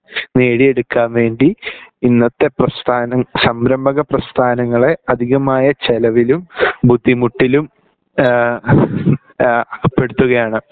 നേടിയെടുക്കാൻ വേണ്ടി ഇന്നത്തെ പ്രസ്ഥാനം സംരംഭക പ്രസ്ഥാനങ്ങളെ അധികമായ ചെലവിലും ബുദ്ധിമുട്ടിലും ഏഹ് ഏഹ് അകപ്പെടുത്തുകയാണ്